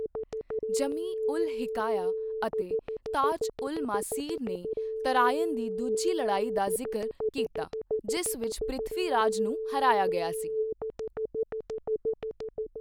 ਜਮੀ ਉਲ ਹਿਕਾਯਾ ਅਤੇ ਤਾਜ ਉਲ ਮਾਸੀਰ ਨੇ ਤਰਾਇਨ ਦੀ ਦੂਜੀ ਲੜਾਈ ਦਾ ਜ਼ਿਕਰ ਕੀਤਾ, ਜਿਸ ਵਿੱਚ ਪ੍ਰਿਥਵੀ ਰਾਜ ਨੂੰ ਹਰਾਇਆ ਗਿਆ ਸੀ।